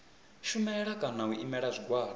shumela kana u imela zwigwada